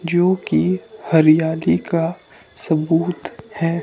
जो की हरियाली का सबूत है।